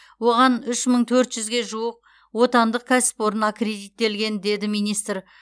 оған үш мың төрт жүзге жуық отандық кәсіпорын аккредиттелген деді министр